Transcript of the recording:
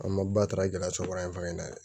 An ma ba ta gɛlɛya sɔrɔ an fa in na dɛ